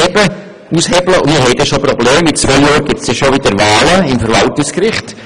In zwei Jahren wird es schon wieder Wahlen geben, und zwar beim Verwaltungsgericht.